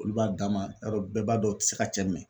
Olu b'a dama yarɔ bɛɛ b'a dɔn u tɛ se ka cɛ mlnɛ